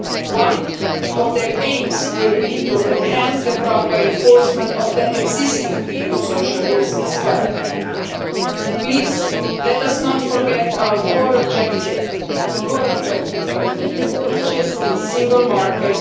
One of its aims will be to enhance the proper enforcement of the existing EU social rules, as well. Please let us not forget our core objective the core objective of the EU which is a single market,